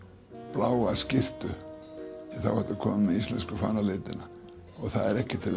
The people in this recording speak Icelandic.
bláa skyrtu því þá ertu kominn með íslensku fánalitina og það er ekki til